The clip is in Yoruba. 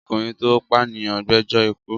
Ọkùnrin tó pànìyàn gbẹjọ́ ikú.